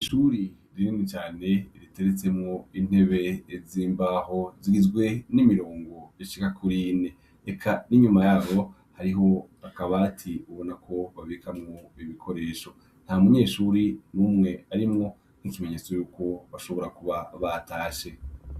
Ishuri rinini cane riteretswemwo intebe z' imbaho zigizwe n' imirongo ishika kuri ine eka n' iyuma yaho hariho akabati ubona ko babikamwo ibikoresho nta munyeshure numwe arimwo nkikimenyetso yuko bashobora kuba batashe.